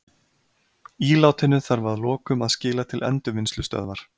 Ílátinu þarf að lokum að skila til endurvinnslustöðvar.